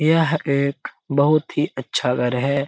यह एक बहुत ही अच्छा घर है।